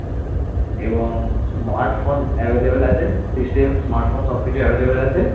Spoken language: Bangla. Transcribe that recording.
এবং smart phone available আছে system smart phone সব কিছু available আছে।